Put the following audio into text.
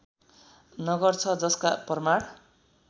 नगर छ जसका प्रमाण